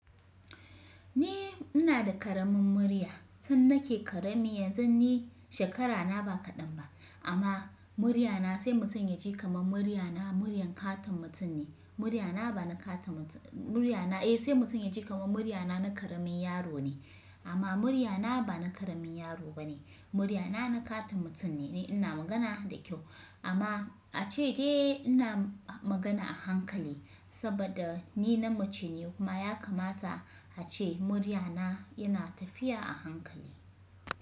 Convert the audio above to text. Ni ina da ƙaramin murya, tun nake ƙarami yanzu ni shekarana ba kaɗan ba amma muryana sai mutum ya ji kamar muryana muryar ƙaton mutum ne. Muryana ba na ƙaton mutum, muryana eh sai mutum ya ji kamar muryana na ƙaramin yaro ne. Amma muryana ba na ƙaramin yaro ba ne, muryana na ƙaton mutum ne. Ina magana da kyau amma a ce dai ina magana a hankali saboda ni na mace ne kuma ya kamata a ce muryana yana tafiya a hankali.